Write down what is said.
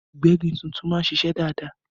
Ìgbẹ́gi tuntun máa ń ṣiṣẹ́ dáadáa